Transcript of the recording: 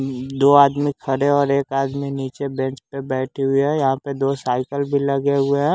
अम्म दो आदमी खड़े और एक आदमी नीचे बेंच पर बैठे हुई हैं यहाँ पे दो साइकिल भी लगे हुए हैं।